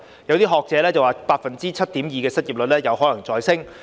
有學者表示 ，7.2% 的失業率有可能再上升。